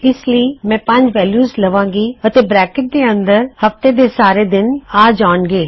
ਫੇਰ ਮੈਂ ਇਸ ਲਈ ਪੰਜ ਵੈਲਯੂਜ ਲਵਾਂਗਾ ਅਤੇ ਇਹਨਾ ਬਰੈਕਟ ਦੇ ਅੰਦਰ ਹਫਤੇ ਦਾ ਹਰ ਦਿਨ ਆ ਜਾਵੇਗਾ